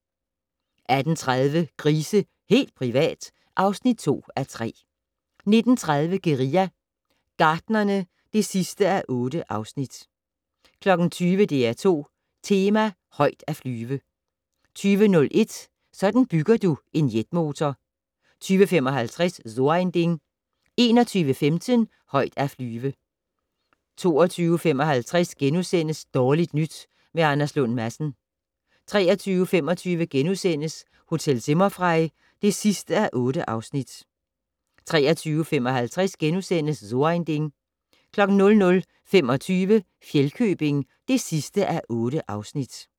18:30: Grise - helt privat! (2:3) 19:30: Guerilla Gartnerne (8:8) 20:00: DR2 Tema: Højt at flyve 20:01: Sådan bygger du en jetmotor 20:55: So ein Ding 21:15: Højt at flyve 22:55: Dårligt nyt med Anders Lund Madsen * 23:25: Hotel Zimmerfrei (8:8)* 23:55: So ein Ding * 00:25: Fjellkøbing (8:8)